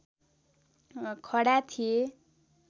खडा थिए